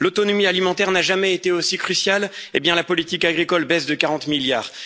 L'autonomie alimentaire n'a jamais été aussi cruciale, et la politique agricole baisse de 40 milliards